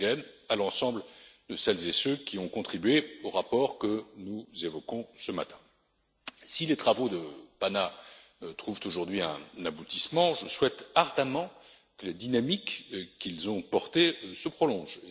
Langen et à l'ensemble de celles et ceux qui ont contribué au rapport que nous évoquons ce matin. Si les travaux de la commission PANA trouvent aujourd'hui un aboutissement, je souhaite ardemment que les dynamiques qu'ils ont portées se prolongent.